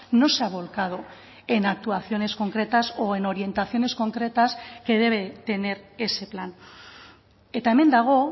no se ha volcado en actuaciones concretas o en orientaciones concretas que debe tener ese plan eta hemen dago